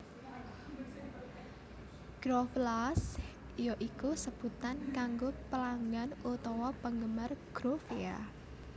Groovellas ya iku sebutan kanggo pelanggan utawa penggemar Groovia